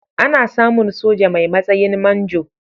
Ana samun soja mai matsayin manjo.